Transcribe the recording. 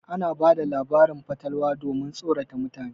Ana bada labarin fatalwa domin tsorata mutane.